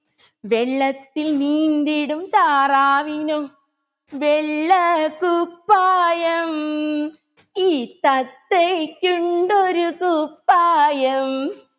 വെള്ളത്തിൽ നീന്തിടും താറാവിനോ വെള്ളക്കുപ്പായം ഈ തത്തയ്‌ക്കുണ്ടൊരു കുപ്പായം